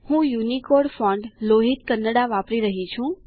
હું Unicode font Lohit Kannada વાપરી રહ્યો છું